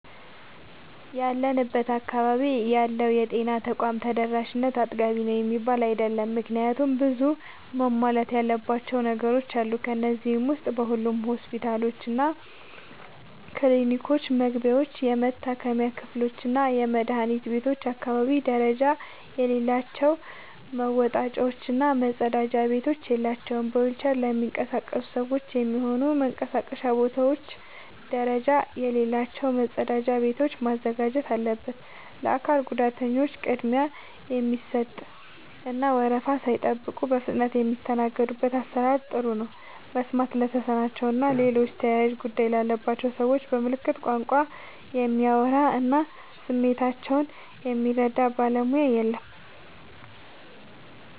ያለንበት አካባቢ ያለው የጤና ተቋም ተደራሽነት አጥጋቢ ነው የሚባል አይደለም። ምክንያቱም ብዙ መሟላት ያለባቸው ነገሮች አሉ። ከነዚህ ዉስጥ በሁሉም ሆስፒታሎችና ክሊኒኮች መግቢያዎች፣ የመታከሚያ ክፍሎችና የመድኃኒት ቤቶች አካባቢ ደረጃ የሌላቸው መወጣጫዎች እና መጸዳጃ ቤቶች የላቸውም። በዊልቸር ለሚንቀሳቀሱ ሰዎች የሚሆኑ መንቀሳቀሻ ቦታዎች ደረጃ የሌላቸው መጸዳጃ ቤቶችን ማዘጋጀት አለበት። ለአካል ጉዳተኞች ቅድሚያ የሚሰጥ እና ወረፋ ሳይጠብቁ በፍጥነት የሚስተናገዱበት አሰራር ጥሩ ነው። መስማት ለተሳናቸው እና ሌሎች ተያያዥ ጉዳት ያለባቸውን ሰዎች በምልክት ቋንቋ የሚያወራ እና ስሜታቸውን የሚረዳ ባለሙያ የለም።